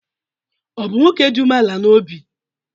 Ọ̀ bụ nwoke dị umeala n’obi?